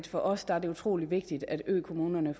for os er det utrolig vigtigt at økommunerne